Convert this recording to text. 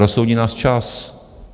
Rozsoudí nás čas.